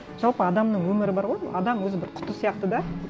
жалпы адамның өмірі бар ғой адам өзі бір құты сияқты да